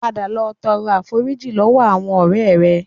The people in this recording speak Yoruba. Padà lọ tọrọ àforíjì lọ́wọ́ àwọn ọ̀rẹ́ rẹ